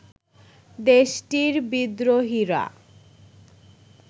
দেশটির বিদ্রোহীরা